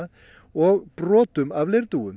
og brotum af